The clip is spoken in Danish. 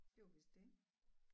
Det var vist det